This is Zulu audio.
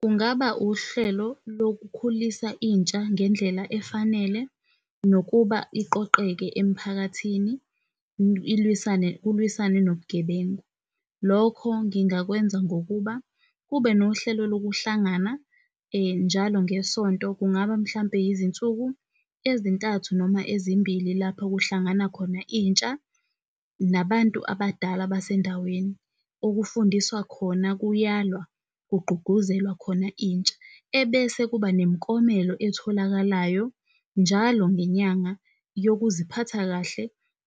Kungaba uhlelo lokukhulisa intsha ngendlela efanele nokuba iqoqeke emphakathini kulwisane nobugebengu. Lokho ngingakwenza ngokuba kube nohlelo lokuhlangana njalo ngesonto kungaba mhlampe yizinsuku ezintathu noma ezimbili lapho kuhlangana khona intsha nabantu abadala basendaweni okufundiswa khona kuyalwa, kugqugquzelwa khona intsha ebese kuba nemiklomelo etholakalayo njalo ngenyanga yokuziphatha kahle